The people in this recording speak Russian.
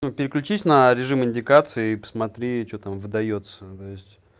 ну переключись на режим индикации и посмотри что там выдаётся то есть